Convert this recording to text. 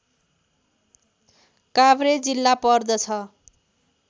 काभ्रे जिल्ला पर्दछ